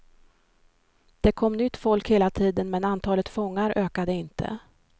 Det kom nytt folk hela tiden men antalet fångar ökade inte.